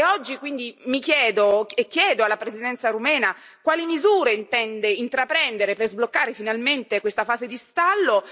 Oggi, quindi, mi chiedo e chiedo alla Presidenza rumena quali misure intende intraprendere per sbloccare finalmente questa fase di stallo?